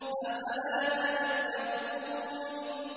أَفَلَا تَذَكَّرُونَ